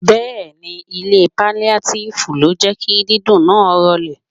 Bẹẹni, ilé paliatifu ló jẹ́ kí dídùn náà rolè.